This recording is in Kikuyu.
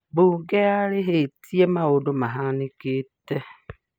Bunge yarĩrvtie maũndu mahanĩkite